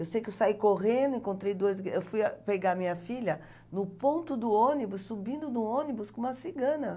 Eu sei que eu saí correndo, encontrei duas... Eu fui pegar minha filha no ponto do ônibus, subindo no ônibus com uma cigana.